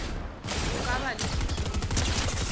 o ka ba le sethunya